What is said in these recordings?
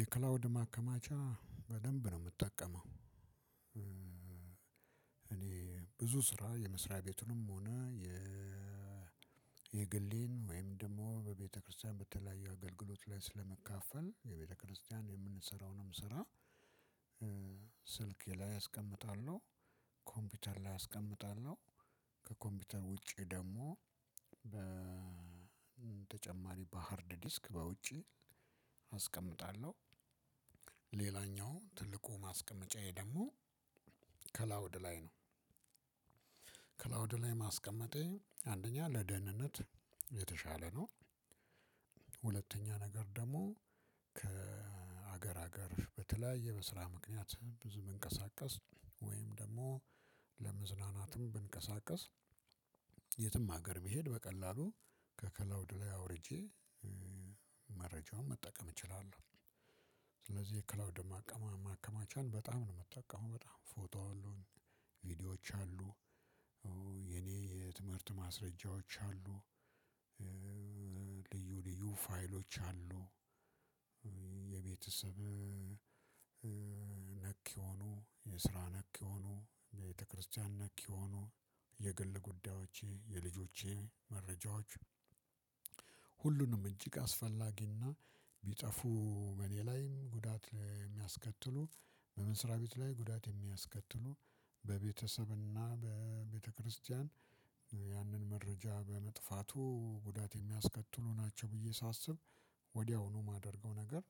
የክላውድ ማከማቻ በደንብ ነው የምጠቀመው እኔ ብዙ ስራ የመስሪያ ቤቱንም ሆነ የ የግሌን ወይም ደግሞ በቤተክርስቲያን በተለያዩ አገልግሎት ላይ ስለመካፈል የቤተክርስቲያን የምንሰራውንም ስራ ስልክ ላይ አስቀምጣለሁ፣ ኮምፒውተር ላይ አስቀምጣለሁ፣ ከኮምፒውተር ውጪ ደግሞ በተጨማሪ በሃርድ ዲስክ በውጪ አስቀምጣለሁ ሌላኛው ትልቁ ማስቀመጫዬ ደግሞ ከላውድ ላይ ነው። ክላውድ ላይ ማስቀመጤ አንደኛ ለደህንነት የተሻለ ነው፣ ነገር ደግሞ ከሀገር ሀገር በተለያየ በስራ ምክንያት ብዙ መንቀሳቀስ ወይም ደግሞ ለመዝናናትም ብንቀሳቀስ የትም ሀገር ቢሄድ በቀላሉ ከክላውድ ላይ አውርጄ መረጃውን መጠቀም እችላለሁ። ስለዚህ ክላውድ ማከ ማከማቻ በጣም ነው ምጠቀመው በጣም ፎቶዎች አሉ፣ ቪዲዎች አሉ የኔ የትምህርት ማስረጃዎች አሉ፣ ልዩ ልዩ ፋይሎች አሉ፣ የቤተሰብ ነክ የሆኑ፣ የስራ ነክ የሆኑ፣ ቤተክርስቲያን ነክ የሆኑ፣ የግል ጉዳዮቼ፣ የልጆቼ መረጃዎች፣ ሁሉንም እጅግ አስፈላጊ እና ቢጠፉ በእኔ ላይ ጉዳት የሚያስከትሉ በመስራ ቤት ላይ ጉዳት የሚያስከትሉ በቤተሰብ እና በቤተክርስቲያን ያንን መረጃ በመጥፋቱ ጉዳት የሚያስከትሉ ናቸው ብዬ ሳስብ ወዲያውኑ የማደርገው ነገር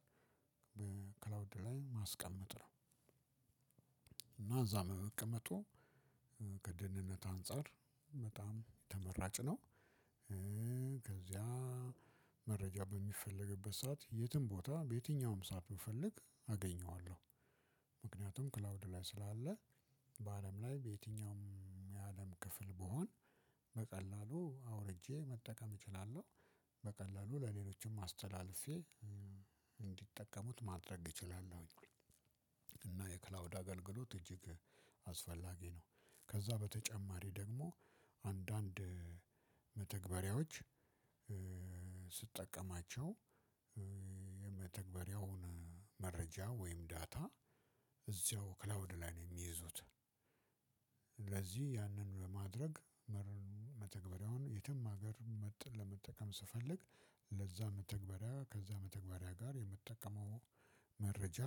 በክላውድ ላይ ማስቀመጥ ነው። እዛ በመቀመጡ ከደህንነት አንፃር በጣም የተመራጭ ነው። ከዚያ መረጃ በሚፈለግበት ሰዓት የትም ቦታ በየትኛውም ሰዓት ብፈልግ አገኘዋለሁ። ምክንያቱም ክላውድ ላይ ስላለ በአለም ላይ በየትኛውም የአለም ክፍል ብሆን በቀላሉ አውርጄ መጠቀም እችላለሁ። በቀላሉ ለሌሎችም አስተላልፌ እንዲጠቀሙት ማድረግ እችላለሁኝ። እና የክላውድ አገልግሎት እጅግ አስፈላጊ ነው። ከዛ በተጨማሪ ደግሞ አንዳንድ መተግበሪያዎች ስጠቀማቸው የመተግበሪያውን መረጃ ወይም ዳታ እዚያው ክላውድ ላይ ነው የሚይዙት ለዚህ ያንን ለማድረግ መተግበሪያውን የትም ሀገር ለመጠቀም ስፈልግ ለዛ መተግበሪያ ከዛ መተግበሪያ ጋር የምጠቀመው መረጃ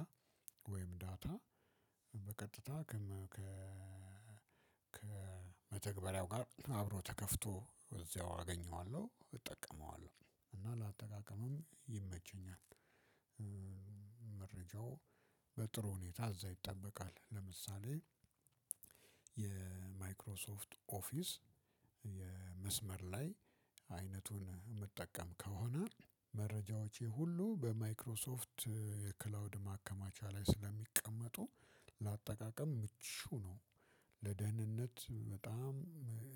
ወይም ዳታ በቀጥታ ከመተግበሪያው ጋር አብሮ ተከፍቶ እዚያው አገኘዋለሁ፣ እጠቀመዋለሁ እና ለአጠቃቀምም ይመቸኛል። በጥሩ ሁኔታ እዛ ይጠበቃል ለምሳሌ የማይክሮሶፍት ኦፊስ መስመር ላይ አይነቱን መጠቀም ከሆነ መረጃዎቼ ሁሉ በማይክሮሶፍት የክላውድ ማከማቻ ላይ ስለሚቀመጡ ለአጠቃቀም ምቹ ነው። ለደህንነት በጣም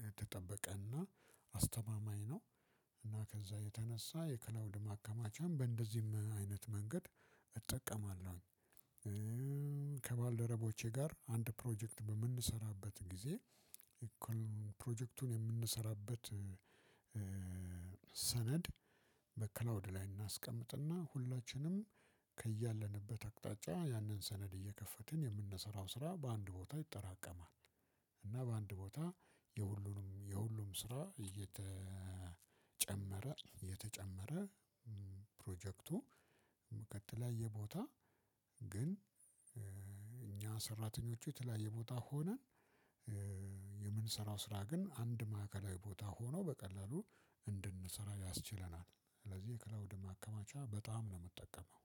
የተጠበቀ እና አስተማማኝ ነው እና ከዛ የተነሳ የክላውድ ማከማቻም በእንደዚህም አይነት መንገድ እጠቀማለሁኝ። ከባልደረቦቼ ጋር አንድ ፕሮጀክት በምንሰራበት ጊዜ እኮ ፕሮጀክቱን የምንሰራበት ሰነድ በክላውድ ላይ እናስቀምጥና ሁላችንም ከያለንበት አቅጣጫ ያንን ሰነድ እየከፈትን የምንሰራው ስራ በአንድ ቦታ ይጠራቀማል። እና በአንድ ቦታ የሁሉንም የሁሉም ስራ እየተጨመረ የተጨመረ ፕሮጀክቱ በተለያየ የቦታ ግን እኛ ሰራተኞቹ የተለያየ ቦታ ሆነን የምንሰራው ስራ ግን አንድ ማዕከላዊ ቦታ ሆኖ በቀላሉ እንድንሰራ ያስችለናል ስለዚህ የክላውድ ማከማቻ በጣም ነው የምጠቀመው።